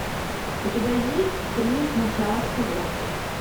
у тебя есть три начало всего